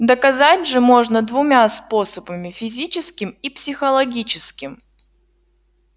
доказать же можно двумя способами физическим и психологическим